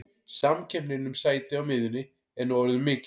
Samkeppnin um sæti á miðjunni er nú orðin mikil.